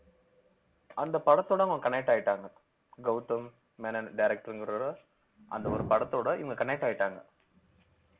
அந்த படத்தோட அவங்க connect ஆயிட்டாங்க கௌதம் மேனன் director ங்கறவரோட அந்த ஒரு படத்தோட இவங்க connect ஆயிட்டாங்க